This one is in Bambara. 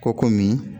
Ko komi